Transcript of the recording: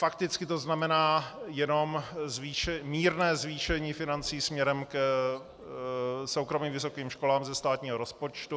Fakticky to znamená jenom mírné zvýšení financí směrem k soukromým vysokým školám ze státního rozpočtu.